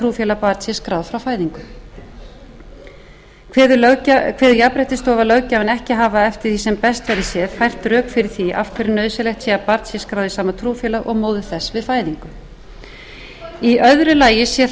trúfélag barn sé skráð frá fæðingu kveður jafnréttisstofa löggjafann ekki hafa eftir því sem best verður séð fært rök fyrir því af hverju nauðsynlegt sé að barn sé skráð í sama trúfélag og móðir þess við fæðingu í öðru lagi sé